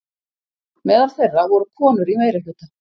Meðal þeirra voru konur í meirihluta.